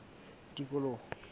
tikoloho